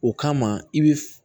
O kama i bɛ